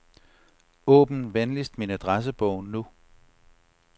Åbn venligst min adressebog nu.